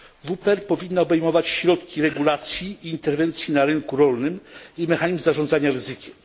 WPR powinna obejmować środki regulacji i interwencji na rynku rolnym oraz mechanizm zarządzania ryzykiem.